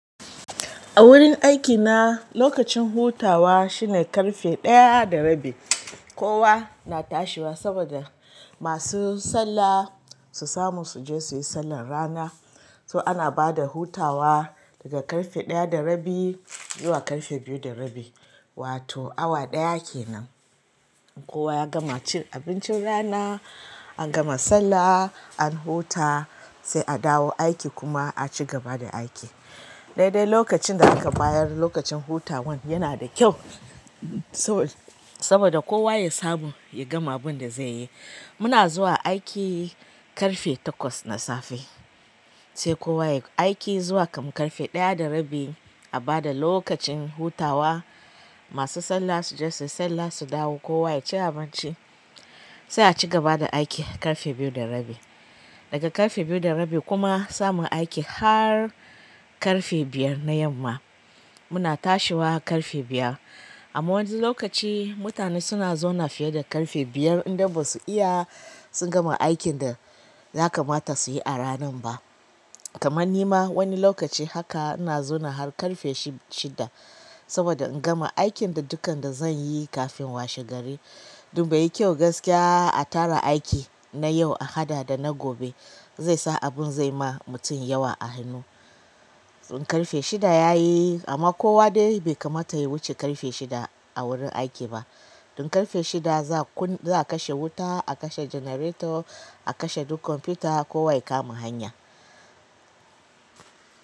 A wurin aikina lokacin hutawa shine ƙarfe ɗaya da rabi. Kowa na tashiwa saboda masu sallah su samu su je su yi sallar rana. So ana bada hutawa daga ƙarfe ɗaya da rabi zuwa ƙarfe biyu da rabi, wato awa ɗaya kenan. Kowa ya gama cin abincin rana, an gama sallah, an huta sai a dawo aiki kuma a cigaba da aiki. Daidai lokacin da aka bayar, lokacin hutawan yana da kyau saboda kowa ya samu ya gama abin da zai yi. Muna zuwa aiki ƙarfe takwas na safe sai kowa ya aiki zuwa kam ƙarfe ɗaya da rabi a ba da lokacin hutawa. Masu sallah su je su yi sallah, su dawo kowa ya ci abinci sai a cigaba da aiki ƙarfe biyu da rabi. Daga ƙarfe biyu da rabi kuma samun aiki har ƙarfe biyar na yamma muna tashiwa ƙarfe biyar. Amma wasu lokaci mutane suna zauna fiye da ƙarfe biyar in dai basu iya sun gama aikin da ya kamata suyi a rannan ba. Kamar ni ma wani lokaci haka ina zauna har ƙarfe shid-shida saboda in gama aikin da dukan da zan yi kafin washe gari. Duba yi kyau gaskiya a tara aiki na yau a haɗa da na gobe zai sa abin zai ma mutum yawa a hannu. Ɗin ƙarfe shida ya yi amma kowa dai bai kamata ya wuce ƙarfe shida a wurin aiki ba. Ɗin ƙarfe shida za kun-- za a kashe wuta, a kashe janareto, a kashe duk kwamfuta kowa ya kama hanya.